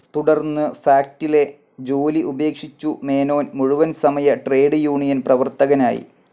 തുടർന്ന് ഫാക്ടിലെ ജോലി ഉപേക്ഷിച്ചു മേനോൻ മുഴുവൻസമയ ട്രേഡ്‌ യൂണിയൻ പ്രവർത്തകനായി.